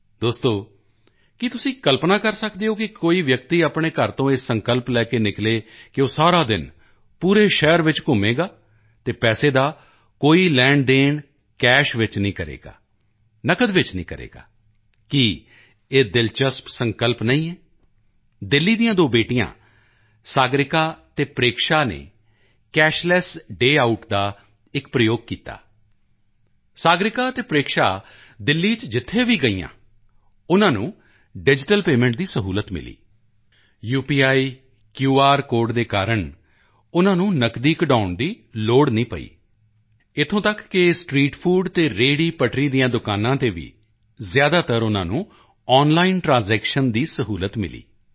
ਦੋਸਤੋ ਕੀ ਤੁਸੀਂ ਕਲਪਨਾ ਕਰ ਸਕਦੇ ਹੋ ਕਿ ਕੋਈ ਵਿਅਕਤੀ ਆਪਣੇ ਘਰ ਤੋਂ ਇਹ ਸੰਕਲਪ ਲੈ ਕੇ ਨਿਕਲੇ ਕਿ ਉਹ ਸਾਰਾ ਦਿਨ ਪੂਰੇ ਸ਼ਹਿਰ ਵਿੱਚ ਘੁੰਮੇਗਾ ਅਤੇ ਪੈਸੇ ਦਾ ਕੋਈ ਲੈਣਦੇਣ ਕੈਸ਼ ਵਿੱਚ ਨਹੀਂ ਕਰੇਗਾ ਨਕਦ ਵਿੱਚ ਨਹੀਂ ਕਰੇਗਾ ਕੀ ਇਹ ਦਿਲਚਸਪ ਸੰਕਲਪ ਨਹੀਂ ਹੈ ਦਿੱਲੀ ਦੀਆਂ ਦੋ ਬੇਟੀਆਂ ਸਾਗਰਿਕਾ ਅਤੇ ਪ੍ਰੇਕਸ਼ਾ ਨੇ ਕੈਸ਼ਲੈੱਸ ਡੇ ਆਊਟ ਦਾ ਇੱਕ ਪ੍ਰਯੋਗ ਕੀਤਾ ਸਾਗਰਿਕਾ ਅਤੇ ਪ੍ਰੇਕਸ਼ਾ ਦਿੱਲੀ ਚ ਜਿੱਥੇ ਵੀ ਗਈਆਂ ਉਨ੍ਹਾਂ ਨੂੰ ਡਿਜੀਟਲ ਪੇਮੈਂਟ ਦੀ ਸਹੂਲਤ ਮਿਲੀ ਯੂਪੀਆਈ ਕੇਆਰ ਕੋਡ ਦੇ ਕਾਰਨ ਉਨ੍ਹਾਂ ਨੂੰ ਨਕਦੀ ਕਢਵਾਉਣ ਦੀ ਲੋੜ ਨਹੀਂ ਪਈ ਇੱਥੋਂ ਤੱਕ ਕਿ ਸਟ੍ਰੀਟ ਫੂਡ ਨੂੰ ਵੀ ਔਨਲਾਈਨ ਲੈਣਦੇਣ ਦੀ ਸਹੂਲਤ ਮਿਲੀ ਹੋਈ ਹੈ ਰੇਹੜੀਪਟਰੀ ਦੀਆਂ ਦੁਕਾਨਾਂ ਤੇ ਜ਼ਿਆਦਾਤਰ ਉਨ੍ਹਾਂ ਨੂੰ ਆਨਲਾਈਨ ਟ੍ਰਾਂਜੈਕਸ਼ਨ ਦੀ ਸਹੂਲਤ ਮਿਲੀ